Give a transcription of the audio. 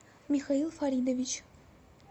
михаил фаридович